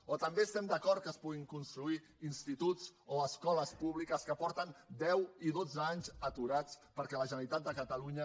o també estem d’acord que es puguin construir instituts o escoles públiques que porten deu i dotze anys aturats perquè la generalitat de catalunya